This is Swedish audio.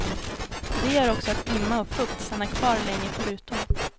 Det gör också att imma och fukt stannar kvar länge på rutorna.